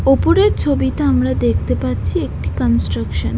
ওপরের ছবিতে আমরা দেখতে পাচ্ছি একটি কনস্ট্রাকশন ।